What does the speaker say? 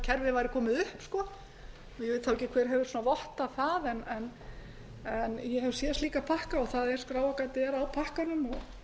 kerfið væri komið upp ég veit þá ekki hver hefur vottað það en ég hef séð slíka pakka og skráargatið er á pakkanum og